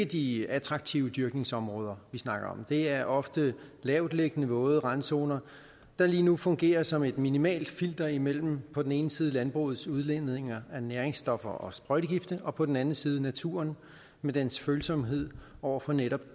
de attraktive dyrkningsområder vi snakker om det er ofte lavt liggende våde randzoner der lige nu fungerer som et minimalt filter imellem på den ene side landbrugets udledninger af næringsstoffer og sprøjtegifte og på den anden side naturen med dens følsomhed over for netop